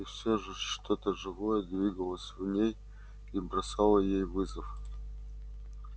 и всё же что то живое двигалось в ней и бросало ей вызов